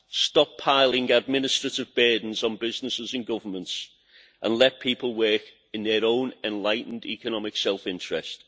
Stop piling administrative burdens onto businesses and governments and let people work in their own enlightened economic self interest.